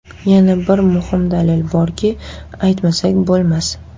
Yana bir muhim dalil borki, aytmasak bo‘lmas.